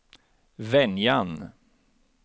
Venjan